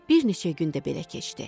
Bir neçə gün də belə keçdi.